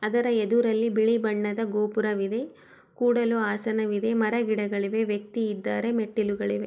ಆದರೆ ಎದುರಲ್ಲಿ ಬಿಳಿ ಬಣ್ಣದ ಗೋಪುರವಿದೆ ಕೂಡಲು ಹಾಸನವಿದೆ ಮರ-ಗಿಡಗಳು ಇವೆ ವ್ಯಕ್ತಿ ಇದ್ದಾರೆ ಮೆಟ್ಟಿಲುಗಳಿವೆ.